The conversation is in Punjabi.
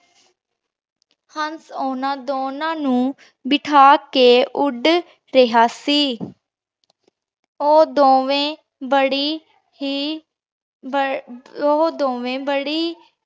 ਹੰਸ ਓਹਨਾਂ ਦੋਨਾਂ ਨੂ ਬਿਠਾ ਕੇ ਉੜ ਰਿਹਾ ਸੀ ਊ ਦੋਵੇਂ ਬਾਰੀ ਹੀ ਊ ਦੋਵੇ ਬਾਰੀ